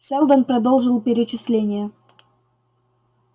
сэлдон продолжил перечисление